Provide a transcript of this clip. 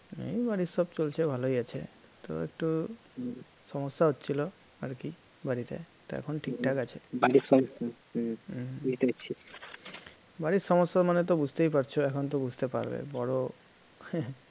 এই বাড়ির সব চলছে ভালোই আছে তো একটু সমস্যা হচ্ছিল আর কি বাড়িতে, তা এখন ঠিকঠাক আছে, বাড়ির সমস্যা মানে তো বুঝতেই পারছ, এখন তো বুঝতে পারবে বড়